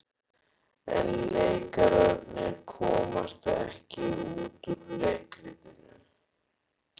En leikararnir komast ekki út úr leikritinu.